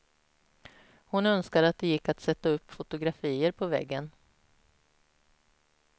Hon önskar att det gick att sätta upp fotografier på väggen.